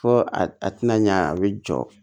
Fo a tɛna ɲɛ a bɛ jɔ